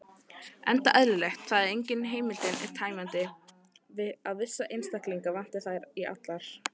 Enda eðlilegt, þegar engin heimildin er tæmandi, að vissa einstaklinga vanti í þær allar.